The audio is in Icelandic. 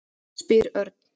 spyr Örn.